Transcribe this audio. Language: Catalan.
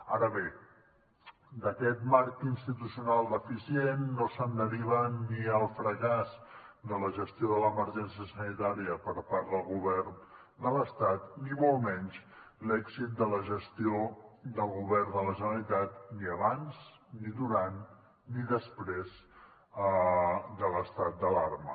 ara bé d’aquest marc institucional deficient no se’n deriva ni el fracàs de la gestió de l’emergència sanitària per part del govern de l’estat ni molt menys l’èxit de la gestió del govern de la generalitat ni abans ni durant ni després de l’estat d’alarma